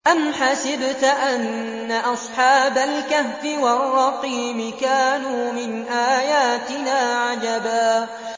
أَمْ حَسِبْتَ أَنَّ أَصْحَابَ الْكَهْفِ وَالرَّقِيمِ كَانُوا مِنْ آيَاتِنَا عَجَبًا